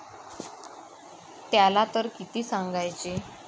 त्याला तर किती सांगायचे?